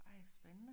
Ej spændende